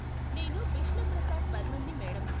నేను బిష్ణు ప్రసాద్ బర్మన్ని, మేడం.